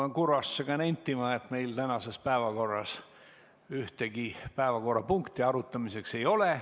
Pean kurvastusega nentima, et meil tänases päevakorras ühtegi päevakorrapunkti arutamiseks ei ole.